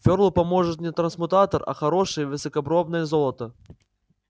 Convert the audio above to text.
фёрлу поможет не трансмутатор а хорошее высокопробное золото